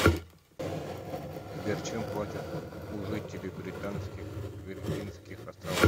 сбер чем платят у жителей британских виргинских островов